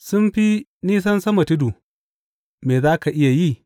Sun fi nisan sama tudu, me za ka iya yi?